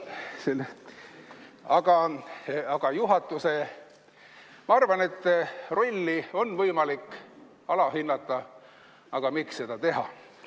Ma arvan, et juhatuse rolli on võimalik alahinnata, aga miks seda teha.